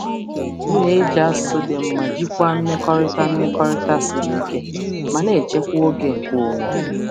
M na-eji asụsụ dị mma iji jikwaa mmekọrịta um siri ike ma na-echekwa ókè onwe onye.